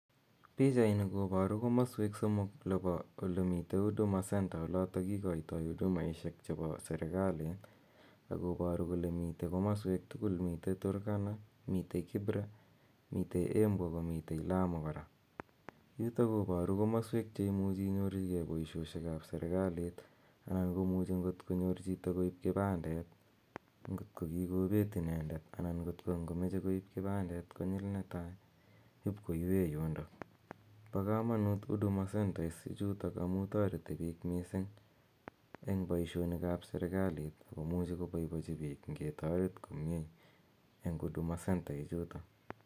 Pichani koparu komaswek somok ole pa ole mitei huduma center olotok kikaitai hudumaishek chepo serikalit akoparu kole mitei komaswek tugul, mitei Kibra ako mitei Turkana, mitei Embu, ako mitei Lamu kora. Yutak koparu komswek che imuchi inyorchigei poishonik ap serikalit anan ko muchi angot konyor chito koip kipandet ngotko ki kopeet inendet anan kot ngomeche koip kipandet konyil netai , ip koipe yundak. Pa kamanuut huduma centers ichutok amu tareti piik missing' eng' poishonik ap serikalit ako muchi kopaipachi piik ngetaret komye